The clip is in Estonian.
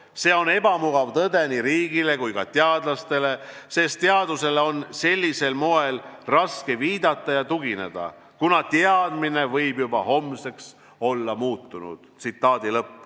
See on ebamugav tõde nii riigile kui ka teadlastele, sest teadusele on sellisel moel raske viidata ja tugineda, kuna teadmine võib juba homseks olla muutunud.